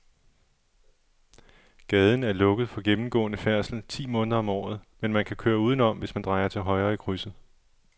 Gaden er lukket for gennemgående færdsel ti måneder om året, men man kan køre udenom, hvis man drejer til højre i krydset.